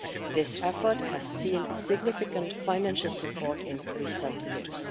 This effort has seen significant financial support in recent years.